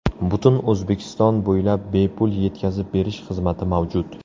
Butun O‘zbekiston bo‘ylab bepul yetkazib berish xizmati mavjud!